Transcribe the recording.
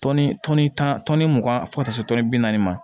tan tɔnni mugan fo ka taa se tɔnni bi naani ma